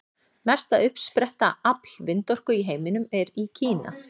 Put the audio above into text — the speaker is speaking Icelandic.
Mesta uppsetta afl vindorku í heiminum er í Kína.